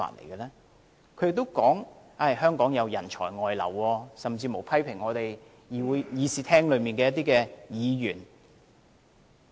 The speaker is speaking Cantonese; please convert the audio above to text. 他也說，香港人才外流，甚至批評會議廳內一些議員。